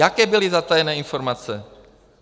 Jaké byly zatajené informace?